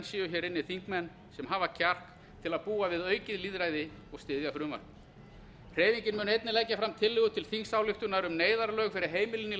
séu hér inni þingmenn sem hafa kjark til að búa við aukið lýðræði og styðja frumvarpið hreyfingin mun einnig leggja fram tillögu til þingsályktunar um neyðarlög fyrir heimilin í